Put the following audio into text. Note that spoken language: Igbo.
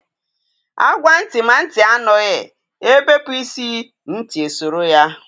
A gwa ntị ma ntị anụghị, ebepu isi, ntị esoro ya